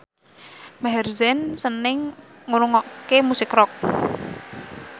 Maher Zein seneng ngrungokne musik rock